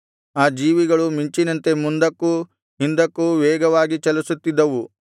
ಆ ಜೀವಿಗಳು ಮಿಂಚಿನಂತೆ ಮುಂದಕ್ಕೂ ಹಿಂದಕ್ಕೂ ವೇಗವಾಗಿ ಚಲಿಸುತ್ತಿದ್ದವು